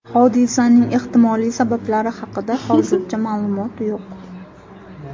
Hodisaning ehtimoliy sabablari haqida hozircha ma’lumot yo‘q.